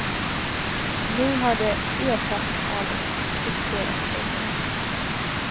Nu har det ersatts av ett krypterat kodnummer.